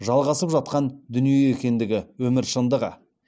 жалғасып жатқан дүние екендігі өмір шындығы